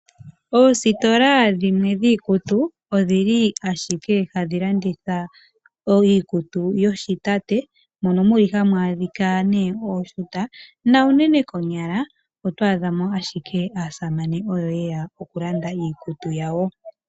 Oositola dhimwe dhiikutu odhi li ashike hadhi landitha iikutu yoshitate mono mu li hamu adhika ooshuta na unene konyala oto adha mo ashike aasamane oyo ashike ye ya okulanda iikutu yawo.